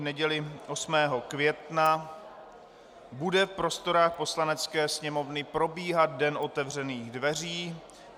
V neděli 8. května bude v prostorách Poslanecké sněmovny probíhat den otevřených dveří.